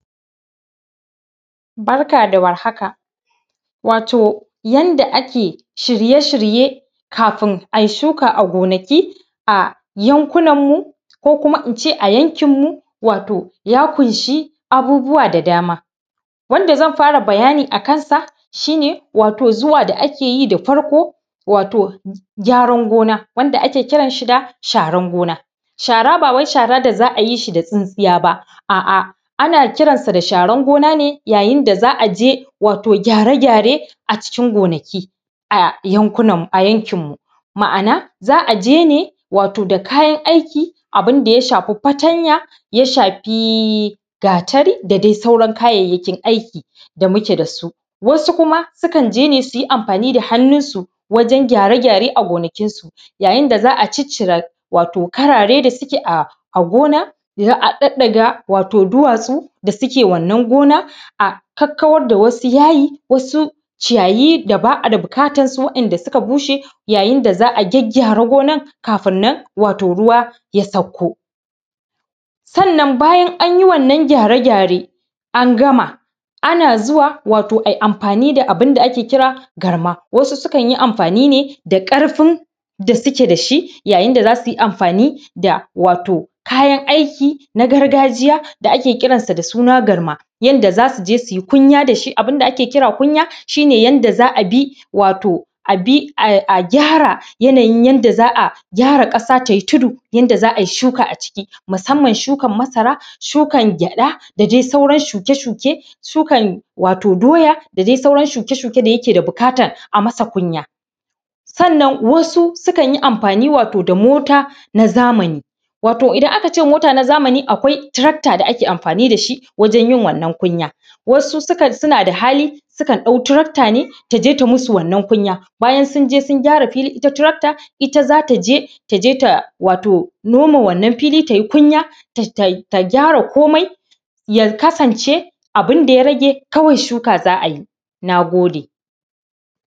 Barka da war haka. Yadda ake shirye-shirye kafin a yi shuka a gonaki a yankuna mu ko kuma in ce yankin munya ƙunsa abubuwa da dama. Zan fara bayani a kansa shi ne wato zuwa da ake yi da farko gyaran gona wanda ake kiran shi da shawarar gona. Shi shara ba wai shara ne da za a yi shi da tsintsiya ba, ana koransa da sharar gona ne yayin da za a yi shi da tsintsiya ba, a'a ana kiran shi da sharar gona ne za a je gyare-gyare a cikin gonaki a yankinmu ma'ana za a je ne wato da kayan aiki abun da ya shafi fatanya ya shafi gatari da dai sauran kayayyakin aiki da muke da su. Wasu kuma sukan je ne yi amfani da hnnunsu wajen gyare-gyare a gonakinsu a yayin da za a cicire wato karare da suke a gona, a ɗaɗɗaga duwatsu da suke wannan gona a kawar da yayi da ba a bukatarsu waɗanda suka bushe yayaun da za a gyaggyara gonar kafin nan ruwa ya sakko. Sannan bayan an yi wannan gyare-gyare an gama ana zuwa a yi amfani da abun da ake kira garma, wasu sukan yi amfani ne da ƙarfin da suke da shi yayin da za su yi amfani da kayan aiki na gargajiya da ake kiransa da suna garma, yayin da za su je su yi abun da ake kira kunya shi yadda za a bi a gyara ƙasa ta yi tudu yadda za a yi shuka a ciki. Musamma shukar masara, shukar gyaɗa da dai sauran shuke-shuke shukan doya da sauran shuke-shuke da yake da bukatar a yi masa kunya. Sannan wasu sukan yi amfani wato da mota na zamani, wato idan aka ce mota na zamani akwai tarakta da ake amfani da shi wajen yin wannan kunya. Wasu kam sun la da hali sukan dauka tarakta ne ta je ta yi musu wannan kunya bayan sun je sun gyara filin, ita tarakta iylta za ta je wato da noma wannan fili ta yi kunya ta gyara komai ya kasance abun da ya rage kawai shi shuka za a yi. Na gode.